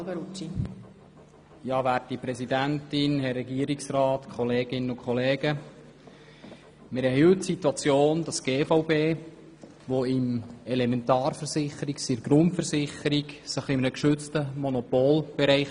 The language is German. Die Gebäudeversicherung des Kantons Bern (GVB) als Elementarschadenversicherung befindet sich in ihrem Hauptgeschäft in einem geschützten Monopolbereich.